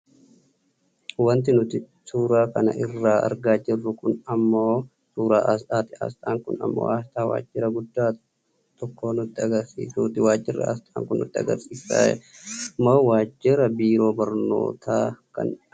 wanti nuti suuraa kana irratti argaa jirru kun ammoo suuraa aasxaati. aasxaan kun ammoo aasxaa waajira guddaa tokko nutti agarsiisuuti, waajjirri aasxan kun nutti agarsiisummoo waajira biiroo barnootaa kan agarsiisudha.